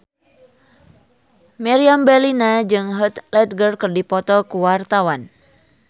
Meriam Bellina jeung Heath Ledger keur dipoto ku wartawan